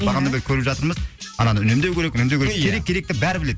ия бағанадан бері көріп жатырмыз ананы үнемдеу керек үнемдеу керек керек керекті бәрі біледі